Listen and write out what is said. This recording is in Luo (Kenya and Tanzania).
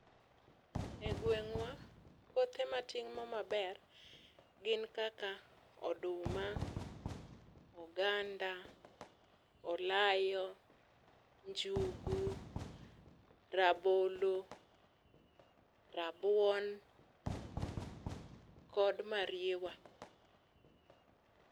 E gweng'wa kothe matimo maber gin kaka oduma, oganda, olayo ,njugu ,rabolo, rabuon, kod mariewa